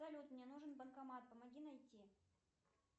салют мне нужен банкомат помоги найти